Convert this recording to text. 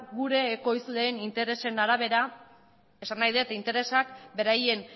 gure ekoizleen interesen arabera esan nahi dut interesak beraien